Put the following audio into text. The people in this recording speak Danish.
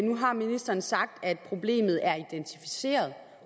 nu har ministeren sagt at problemet er identificeret